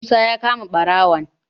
musa ya kama barawon